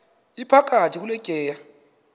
iphakathi kule tyeya